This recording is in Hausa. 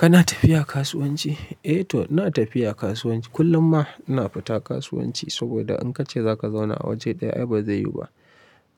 Kana tafiya kasuwanci? Eh to ina tafiya kasuwanci. Kullum ma ina fita kasuwanci saboda in ka ce za ka zauna a waje ɗaya ai ba zai yiwu ba.